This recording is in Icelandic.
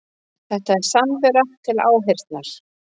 Þetta var samvera til áheyrnar